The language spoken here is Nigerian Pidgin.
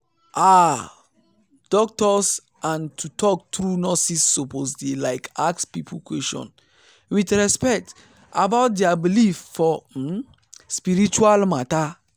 ah! doctors and to talk true nurses suppose dey like ask people question with respect about dia believe for um spiritual matter.